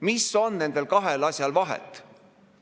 Mis on nendel kahel asjal vahet?